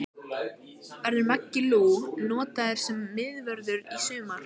Verður Maggi Lú notaður sem miðvörður í sumar?